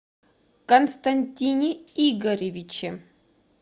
константине игоревиче